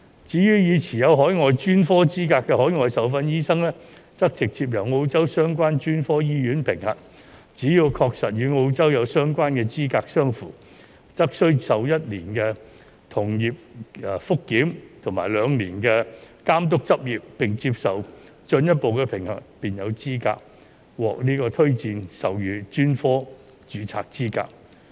至於已持有海外專科資格的海外受訓醫生，則直接由澳洲相關專科醫院評核，只要確實與澳洲有相關的資格相符，則須受1年的同業覆檢及2年的監督執業，並接受進一步的評核，便有資格獲推薦授予專科註冊資格。